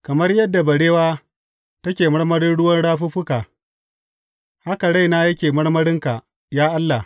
Kamar yadda barewa take marmarin ruwan rafuffuka, haka raina yake marmarinka, ya Allah.